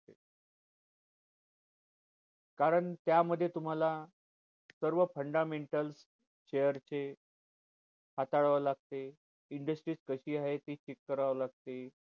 कारण त्यामध्ये तुम्हाला सर्व fundamental share चे हाताळावे लागते industry कशी आहे check करावं लागते